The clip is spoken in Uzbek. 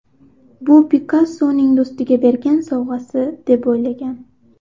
Bu Pikassoning do‘stiga bergan sovg‘asi, deb o‘ylagan.